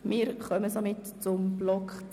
Somit kommen wir zum Themenblock 10.i Kultur.